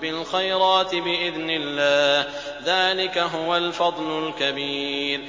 بِالْخَيْرَاتِ بِإِذْنِ اللَّهِ ۚ ذَٰلِكَ هُوَ الْفَضْلُ الْكَبِيرُ